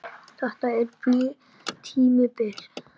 Þetta tímabil?